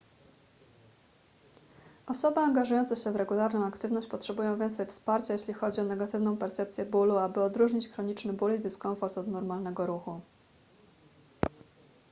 osoby angażujące się w regularną aktywność potrzebują więcej wsparcia jeśli chodzi o negatywną percepcję bólu aby odróżnić chroniczny ból i dyskomfort od normalnego ruchu